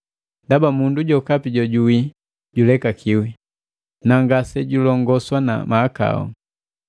Ndaba mundu jokapi jojuwi julekakiwi, na ngasejulongoswa na mahakau.